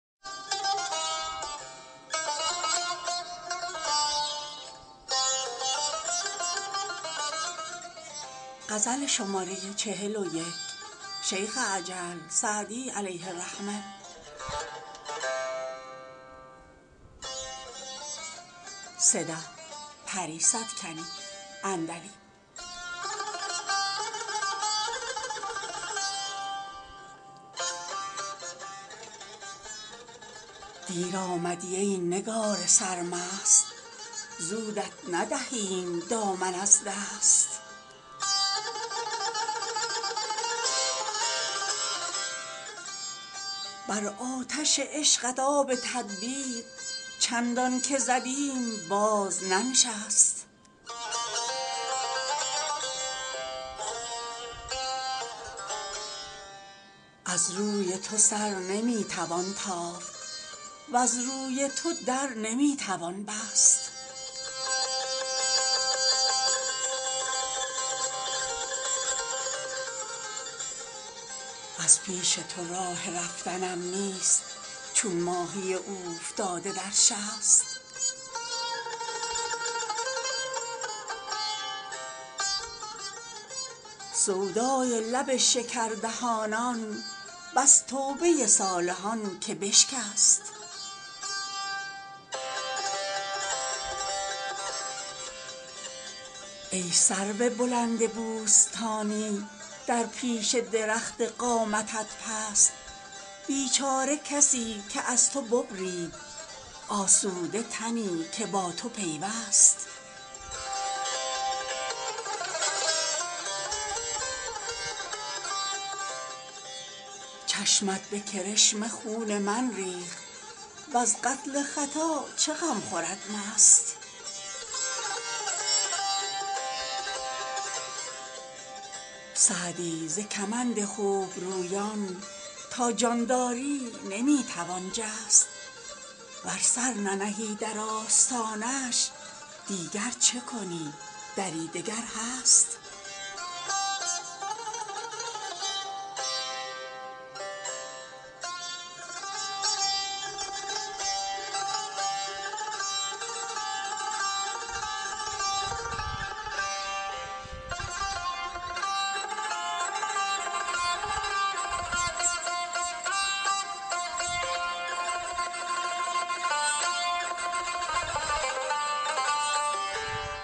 دیر آمدی ای نگار سرمست زودت ندهیم دامن از دست بر آتش عشقت آب تدبیر چندان که زدیم باز ننشست از رای تو سر نمی توان تافت وز روی تو در نمی توان بست از پیش تو راه رفتنم نیست چون ماهی اوفتاده در شست سودای لب شکردهانان بس توبه صالحان که بشکست ای سرو بلند بوستانی در پیش درخت قامتت پست بیچاره کسی که از تو ببرید آسوده تنی که با تو پیوست چشمت به کرشمه خون من ریخت وز قتل خطا چه غم خورد مست سعدی ز کمند خوبرویان تا جان داری نمی توان جست ور سر ننهی در آستانش دیگر چه کنی دری دگر هست